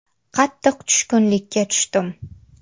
Qattiq tushkunlikka tushdim.